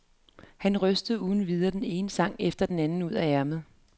Han rystede uden videre den ene sang efter den anden ud af ærmet.